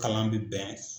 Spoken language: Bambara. Kalan bi bɛn